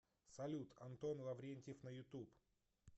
салют антон лаврентьев на ютуб